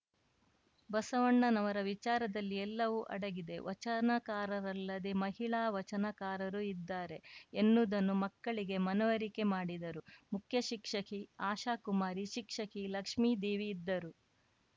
ಬಸವಣ್ಣನವರ ವಿಚಾರದಲ್ಲಿ ಎಲ್ಲವೂ ಅಡಗಿದೆ ವಚನಕಾರರಲ್ಲದೆ ಮಹಿಳಾ ವಚನಕಾರರು ಇದ್ದಾರೆ ಎನ್ನುವುದನ್ನು ಮಕ್ಕಳಿಗೆ ಮನವರಿಕೆ ಮಾಡಿದರು ಮುಖ್ಯ ಶಿಕ್ಷಕಿ ಆಶಾಕುಮಾರಿ ಶಿಕ್ಷಕಿ ಲಕ್ಷ್ಮೀದೇವಿ ಇದ್ದರು